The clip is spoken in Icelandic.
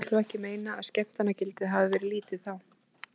Kristján vill þó ekki meina að skemmtanagildið hafið verið lítið þá.